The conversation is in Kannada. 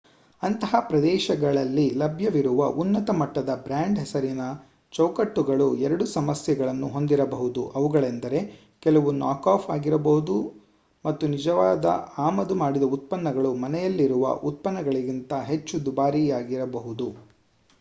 ಅಂತಹ ಪ್ರದೇಶಗಳಲ್ಲಿ ಲಭ್ಯವಿರುವ ಉನ್ನತ-ಮಟ್ಟದ ಬ್ರಾಂಡ್-ಹೆಸರಿನ ಚೌಕಟ್ಟುಗಳು ಎರಡು ಸಮಸ್ಯೆಗಳನ್ನು ಹೊಂದಿರಬಹುದು ಅವುಗಳೆಂದರೆ ಕೆಲವು ನಾಕ್-ಆಫ್ ಆಗಿರಬಹುದು ಮತ್ತು ನಿಜವಾದ ಆಮದು ಮಾಡಿದ ಉತ್ಪನ್ನಗಳು ಮನೆಯಲ್ಲಿರುವ ಉತ್ಪನ್ನಗಳಿಗಿಂತ ಹೆಚ್ಚು ದುಬಾರಿಯಾಗಬಹುದು